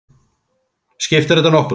Skiptir þetta nokkru?